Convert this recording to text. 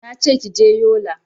Nace kije yola